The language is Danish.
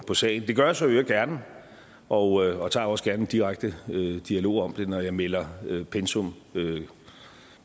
på sagen det gør jeg så i øvrigt gerne og tager også gerne en direkte dialog om det når jeg melder pensum